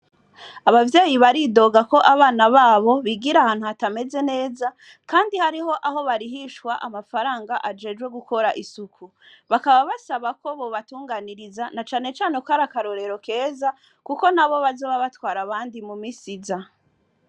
Abavyeyi baridoga ko abana babo bigira ahantu hatameze neza, kandi hariho aho barihishwa amafaranga ajejwe gukora isuku bakaba basaba ko bobatunganiriza na canecane kkari akarorero keza, kuko na bo bazoba batwara abandi mu misiza.